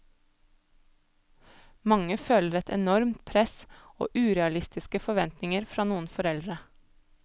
Mange føler et enormt press, og urealistiske forventninger fra noen foreldre.